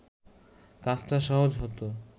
কাজটা সহজ হতো